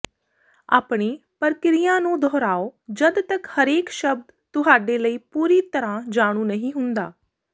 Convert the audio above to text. ਆਪਣੀ ਪ੍ਰਕ੍ਰਿਆ ਨੂੰ ਦੁਹਰਾਓ ਜਦ ਤਕ ਹਰੇਕ ਸ਼ਬਦ ਤੁਹਾਡੇ ਲਈ ਪੂਰੀ ਤਰ੍ਹਾਂ ਜਾਣੂ ਨਹੀਂ ਹੁੰਦਾ